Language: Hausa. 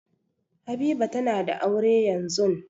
Habiba tana da aure yanzun.